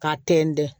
K'a tɛntɛn